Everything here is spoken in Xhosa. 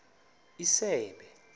isebe